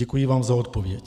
Děkuji vám za odpověď.